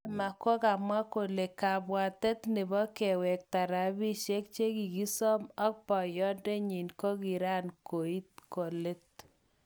Prema kokamwa kole kabwatet nebo kewekta rapishek chekikosom ak boyodenyin kokiran koit kolet.